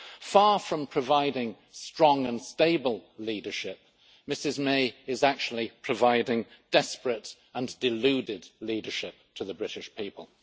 Far from providing strong and stable leadership, Ms May is actually providing desperate and deluded leadership to the British people.